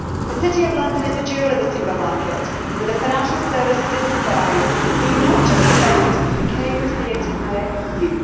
The City of London is the jewel of the single market, with the financial services it provides being of benefit not just to the UK but to the entire EU.